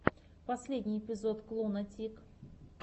последний эпизод клуна тик